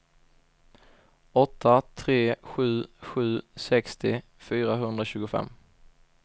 åtta tre sju sju sextio fyrahundratjugofem